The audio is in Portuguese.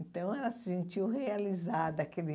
Então, ela se sentiu realizada. Aquele